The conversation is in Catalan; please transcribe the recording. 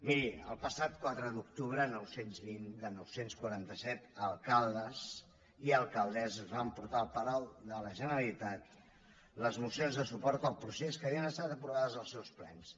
miri el passat quatre d’octubre nou cents i vint de nou cents i quaranta set alcaldes i alcaldesses van portar al palau de la generalitat les mocions de suport al procés que havien estat aprovades als seus plens